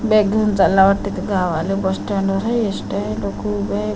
Bag घेऊन चालला वाटतं ते गावाला बसस्टँड वर आहे एसट्या आहे लोकं उभी आहेत.